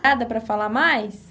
Nada para falar mais?